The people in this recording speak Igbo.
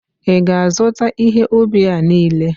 ị ga-azụta ihe ubi a niile?